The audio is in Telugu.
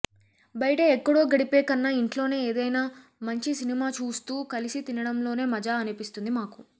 బయట ఎక్కడో గడిపే కన్నా ఇంట్లోనే ఏదైనా మంచి సినిమా చూస్తూ కలిసి తినడంలోనే మజా అనిపిస్తుంది మాకు